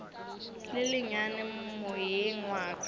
le lennyane moyeng wa ka